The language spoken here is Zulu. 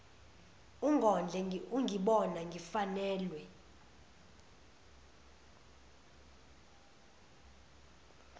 ungondle ungibona ngifanelwe